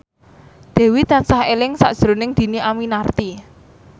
Dewi tansah eling sakjroning Dhini Aminarti